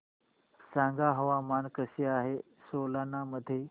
सांगा हवामान कसे आहे सोलान मध्ये